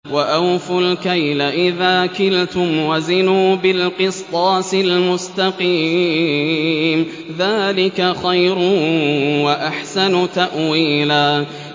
وَأَوْفُوا الْكَيْلَ إِذَا كِلْتُمْ وَزِنُوا بِالْقِسْطَاسِ الْمُسْتَقِيمِ ۚ ذَٰلِكَ خَيْرٌ وَأَحْسَنُ تَأْوِيلًا